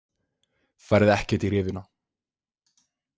Færð ekkert í rifuna.